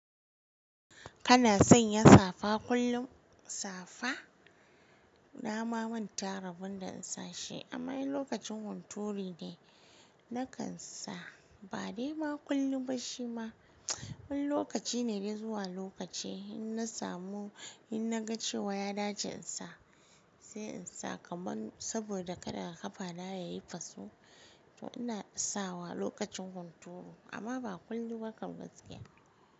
Kana sanya safa kullum? Safa nama manta rabon da insashi amma in lokacin hunturi ne na kansa ba dai ma kullum ba shi ma, wani lokaci ne dai zuwa lokaci in na samu in na ga cewa ya dace in sa sai in sa kaman saboda kada ƙafana yayi faso to ina sawa lokacin hunturu amma ba kullum ba kan gaskiya.